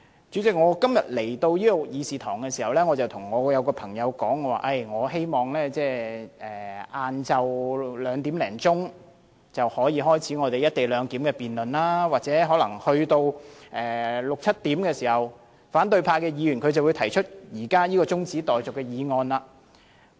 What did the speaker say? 主席，我今天前來會議廳途中，曾跟朋友說希望下午兩時多可以開始"一地兩檢"的辯論，而在六七時左右，反對派議員可能會提出現時這項中止待續議案。